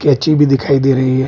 केची भी दिखाई दे रही है।